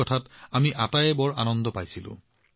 এয়া আমাৰ সকলোৰে বাবে এটা আনন্দৰ বিষয় আছিল